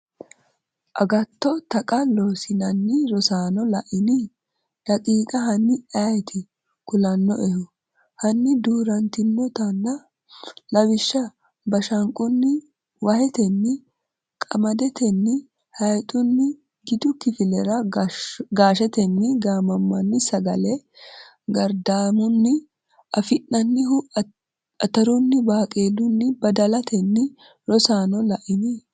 agatto Taqa Loossinanni Rosaano la’ini? daqiiqa Hanni ayeeti kulannoehu? Hanni duu’rantinotana? Lawishsha bashanqunni wahetenni qamadetenni hayxunni Gidu kifilera gaashetenni gaammanni sagale gardaamunni afi’nannihu atarunni baaqeelunni badalatenni Rosaano la’ini?